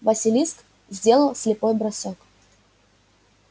василиск сделал слепой бросок